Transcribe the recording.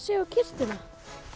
á kistuna